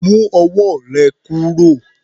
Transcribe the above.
Mu ọwọ́ rè kúrò.